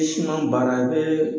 anw baara i bee